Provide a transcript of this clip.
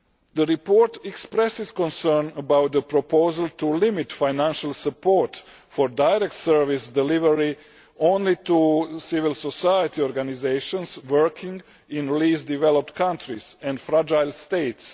The report expresses concern about the proposal to limit financial support for direct service delivery only to civil society organisations working in least developed countries and fragile states.